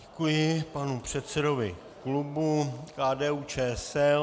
Děkuji panu předsedovi klubu KDU-ČSL.